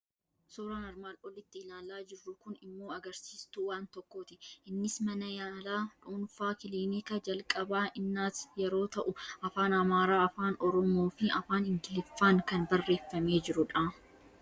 Suuraan armaan olitti ilaalaa jirru kun immoo agarsiistuu waan tokkooti. Innis mana yaalaa dhuunfaa Kilinika jalqabaa Innaat yeroo ta'u, afaan Amaaraa, afaan Oromoo fi Afaan Ingiliffaan kan barreeffamee jiru dha.